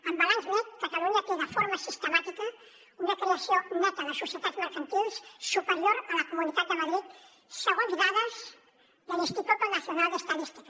en balanç net catalunya té de forma sistemàtica una creació neta de societats mercantils superior a la comunitat de madrid segons dades de l’instituto nacional de estadística